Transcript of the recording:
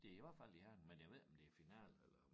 Det i hvert fald i Herning men jeg ved ikke om det finale eller